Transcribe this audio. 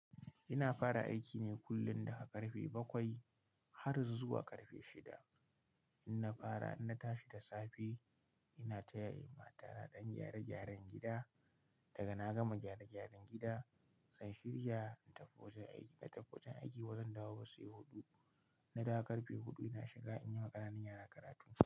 Ina fara aiki ne kullum daga karfe bakwai har zuwa karfe shida. In na fara, in na tashi da safe, ina taya matata ɗan gyare-gyaren gida. Daga na gama gyare-gyaren gida, zan shirya in tafi wajen aiki. Da tafi wajen aiki, bazan dawo ba sai huɗu. Na da karfe huɗu ina shiga in yi wa ƙananan yara karatunsu.